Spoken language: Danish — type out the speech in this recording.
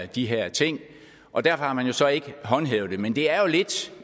de her ting og der har man så ikke håndhævet det men det er jo lidt